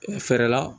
Fɛɛrɛ la